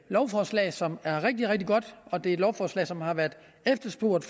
lovforslag som er rigtig rigtig godt og det er et lovforslag som har været efterspurgt